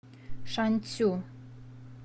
шанцю